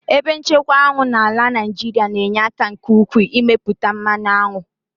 Ebe nchekwa aṅụ n'ala Naijiria na-enye aka nke ukwuu n'ịmepụta mmanụ aṅụ.